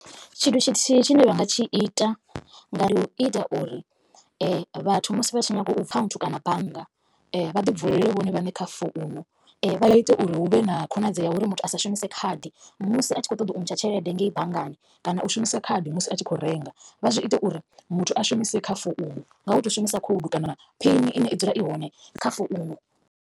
Tshithu tshithihi tshine vha nga tshi ita nga u ita uri vhathu musi vha tshi nyago u kana bannga vha ḓi vulele vhone vhaṋe kha founu. Vha ite uri huvhe na khonadzeo ya uri muthu asa shumise khadi musi a tshi kho ṱoḓa u ntsha tshelede ngei banngani kana u shumisa khadi musi a tshi kho renga. vha zwi ite uri muthu a shumise kha founu nga u to shumisa khoudu kana phini ine i dzula i hone kha founu.